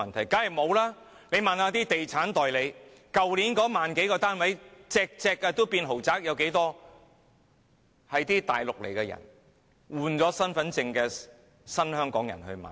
大家問一問地產代理，去年那1萬多個成交的單位，全部也是豪宅，有多少是來自內地、剛換領身份證的新香港人購買的？